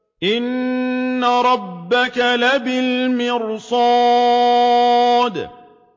إِنَّ رَبَّكَ لَبِالْمِرْصَادِ